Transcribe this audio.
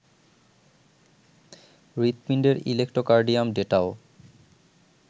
হৃদপিণ্ডের electrocardiogram ডেটাও